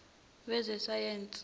wezesayensi